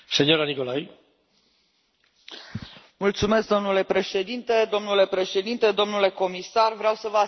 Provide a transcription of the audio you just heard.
Domnule președinte, domnule comisar, vreau să vă asigur că și pentru cetățenii români și bulgari spațiul Schengen este un simbol.